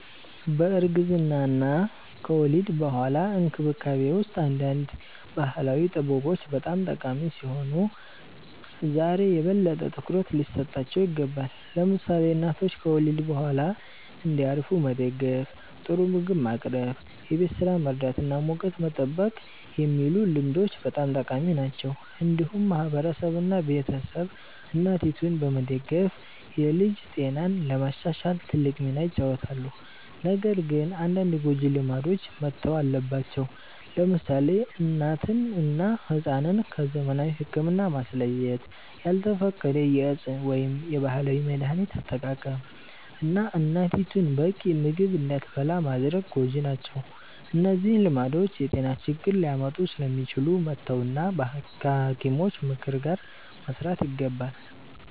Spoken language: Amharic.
በእርግዝና እና ከወሊድ በኋላ እንክብካቤ ውስጥ አንዳንድ ባህላዊ ጥበቦች በጣም ጠቃሚ ሲሆኑ ዛሬ የበለጠ ትኩረት ሊሰጣቸው ይገባል። ለምሳሌ እናቶች ከወሊድ በኋላ እንዲያርፉ መደገፍ፣ ጥሩ ምግብ ማቅረብ፣ የቤት ስራ መርዳት እና ሙቀት መጠበቅ የሚሉ ልምዶች በጣም ጠቃሚ ናቸው። እንዲሁም ማህበረሰብ እና ቤተሰብ እናቲቱን በመደገፍ የልጅ ጤናን ለማሻሻል ትልቅ ሚና ይጫወታሉ። ነገር ግን አንዳንድ ጎጂ ልማዶች መተው አለባቸው። ለምሳሌ እናትን እና ሕፃንን ከዘመናዊ ሕክምና ማስለየት፣ ያልተፈቀደ የእፅ ወይም የባህላዊ መድሀኒት አጠቃቀም፣ እና እናቲቱ በቂ ምግብ እንዳትበላ ማድረግ ጎጂ ናቸው። እነዚህ ልማዶች የጤና ችግር ሊያመጡ ስለሚችሉ መተው እና ከሐኪሞች ምክር ጋር መስራት ይገባል።